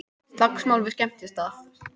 Slagsmál við skemmtistað